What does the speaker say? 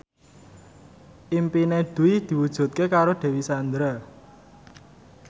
impine Dwi diwujudke karo Dewi Sandra